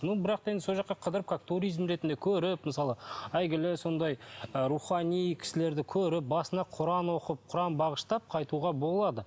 но бірақ та енді сол жаққа қыдырып как туризм ретінде көріп мысалы әйгілі сондай ы рухани кісілерді көріп басына құран оқып құран бағыштап қайтуға болады